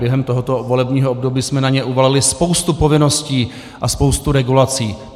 Během tohoto volebního období jsme na ně uvalili spoustu povinností a spoustu regulací.